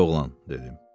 Ay oğlan, dedim.